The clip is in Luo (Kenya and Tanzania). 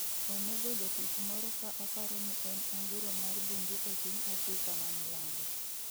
Onego jatich moro ka oparo ni en anguro mar bungu e piny Afrika ma milambo